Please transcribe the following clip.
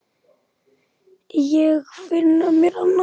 Ég finna mér annan skal.